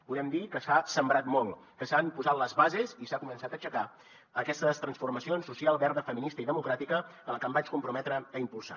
podem dir que s’ha sembrat molt que s’han posat les bases i s’ha començat a aixecar aquestes transformacions social verda feminista i democràtica que em vaig comprometre a impulsar